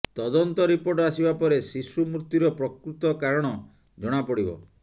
ତଦନ୍ତ ରିପୋର୍ଟ ଆସିବା ପରେ ଶିଶୁ ମୃତ୍ୟୁର ପ୍ରକୃତ କାରଣ ଜଣାପଡିବ